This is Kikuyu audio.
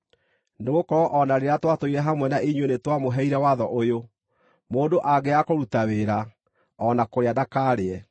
Nĩgũkorwo o na rĩrĩa twatũire hamwe na inyuĩ nĩtwamũheire watho ũyũ: “Mũndũ angĩaga kũruta wĩra, o na kũrĩa ndakarĩe.”